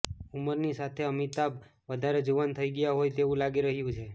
ઉંમરની સાથે અમિતાબ વધારે જુવાન થઈ ગયા હોય તેવું લાગી રહ્યું છે